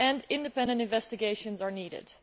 Independent investigations are also needed.